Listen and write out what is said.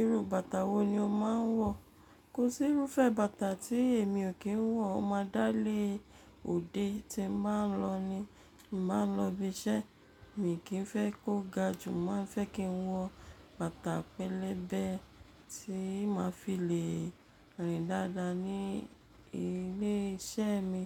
Iru bàtà wo ni o máa ń wọ? Kò sí irúfẹ́ bàtà tí èmi ò kí ń wọ. Mo máa dá lé òde tí n bá ń lọ ní, ti n bá ń lọ ibi iṣẹ́ mi kì í fẹ́ kó ga, jù máa ń fẹ́ kí n wọ bàtà pẹlẹbẹ tí máa fi le rìn dáadáa ní ilé iṣẹ́ mi.